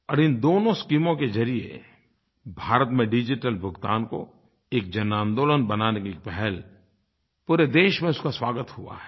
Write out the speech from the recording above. और इन दोनों स्कीमों के ज़रिये भारत में डिजिटल भुगतान को एक जनआन्दोलन बनाने की एक पहल पूरे देश में इसका स्वागत हुआ है